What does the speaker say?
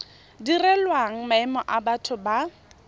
direlwang maemo a batho ba